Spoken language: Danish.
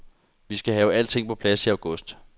Vi skal have alting på plads i august.